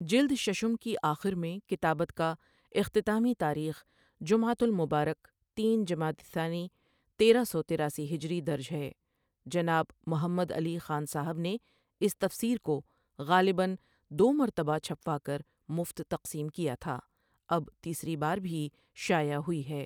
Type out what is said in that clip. جلد ششم کی آخرمیں کتابت کااختتامی تاریخ جمعۃ المبارک تین، جمادی الثانی، تیرہ سوتراسی ہجری درج ہے جناب محمدعلی خان صاحبؒ نےاس تفسیرکوغالباً دومرتبہ چھپواکرمفت تقسیم کیا تھا اب تیسری باربھی شائع ہوئی ہے